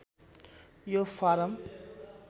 यो फारम